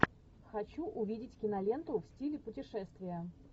хочу увидеть киноленту в стиле путешествия